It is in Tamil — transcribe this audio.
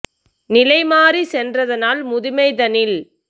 நிலைமாறிச் சென்றதனால் முதுமை தன்னில்